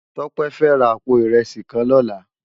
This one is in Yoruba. Tope fè rá àpó irèsí kán lòlá